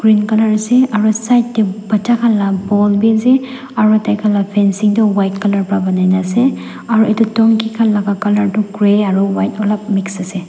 Green colour ase aro side tey bacha khan la ball bi ase aro taikhan la fancing toh white colour para banai na ase aro etu donkey khan laga colour tu grey aro white alop mix ase.